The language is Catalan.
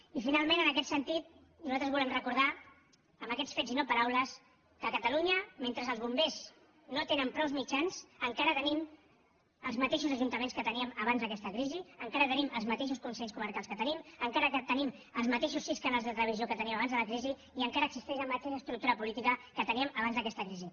i finalment en aquest sentit nosaltres volem recordar amb aquests fets i no paraules que a catalunya mentre els bombers no tenen prou mitjans encara tenim els mateixos ajuntaments que teníem abans d’aquesta crisi encara tenim els mateixos consells comarcals que teníem encara tenim els mateixos sis canals de televisió que teníem abans de la crisi i encara existeix la mateixa estructura política que teníem abans d’aquesta crisi